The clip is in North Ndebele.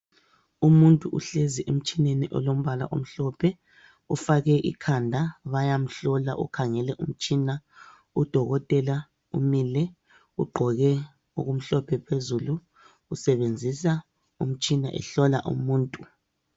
Umuntu uhlezi emtshineni olombala omhlophe .Ufake ikhanda bayamhlola ,ukhangele umtshina udokotela umile .Ugqoke okumhlophe phezulu ,usebenzisa umtshina ehlola umuntu .